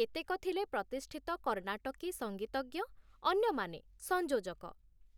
କେତେକ ଥିଲେ ପ୍ରତିଷ୍ଠିତ କର୍ଣ୍ଣାଟକୀ ସଂଗୀତଜ୍ଞ, ଅନ୍ୟମାନେ ସଂଯୋଜକ ।